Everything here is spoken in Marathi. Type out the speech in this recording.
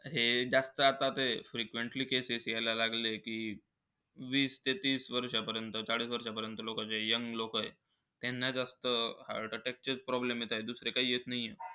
हे जास्त आता ते frequently cases येईल लागले की, वीस ते तीस वर्षापर्यंत साडेतीस पर्यंत चे लोकं आहेत. त्यांना जास्त heart-attack चे problem येतायत, दुसरे काही येत नाही आहे.